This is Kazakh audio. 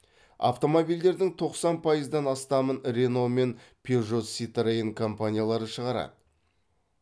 автомобильдердің тоқсан пайыздан астамын рено мен пежо ситроен компаниялары шығарады